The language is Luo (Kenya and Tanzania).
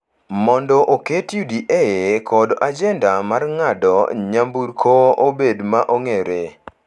mondo oket UDA kod ajenda mar ng’ado nyamburko obed ma ong’ere,